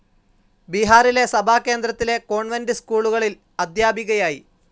ബീഹാറിലെ സഭാകേന്ദ്രത്തിലെ കോൺവെന്റ്‌ സ്‌കൂളുകളിൽ അധ്യാപികയായി.